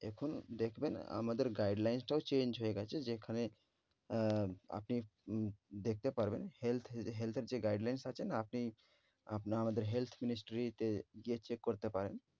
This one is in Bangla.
এখন দেখবেন আমাদের guidelines টাও change হয়ে গেছে যেখানে আহ আপনি উম দেখতে পারবেন health এর health এর guidelines আছে না আপনি আপনি আমাদের health ministry তে গিয়ে check করতে পারেন।